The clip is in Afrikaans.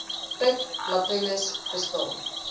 put latrines bestaan